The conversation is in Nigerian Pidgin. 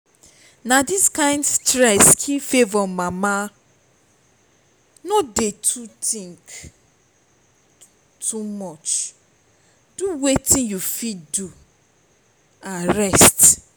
na dis kyn stress kill favour mama no dey think too much do wetin you fit do and rest